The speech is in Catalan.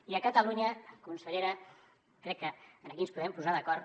i a catalunya consellera crec que aquí ens podem posar d’acord